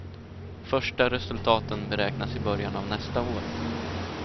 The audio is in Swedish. Första resultaten beräknas i början av nästa år.